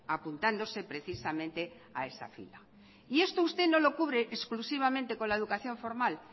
apuntándose precisamente a esa fila y esto usted no lo cubre exclusivamente con la educación formal